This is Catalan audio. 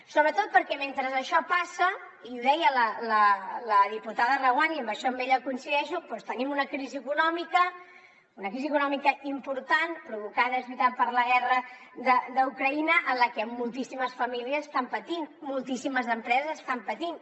sobretot perquè mentre això passa i ho deia la diputada reguant i en això amb ella hi coincideixo tenim una crisi econòmica una crisi econòmica important provocada és veritat per la guerra d’ucraïna en la que moltíssimes famílies estan patint moltíssimes empreses estan patint